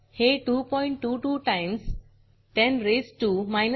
हे 222 टाईम्स 10